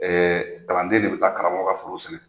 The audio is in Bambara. kalanden de bɛ taa karamɔgɔ ka foro sɛnɛ.